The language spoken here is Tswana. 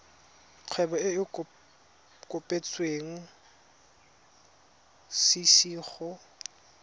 kgwebo e e kopetswengcc go